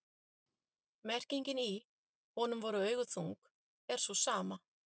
merkingin í „honum voru augu þung“ er sú sama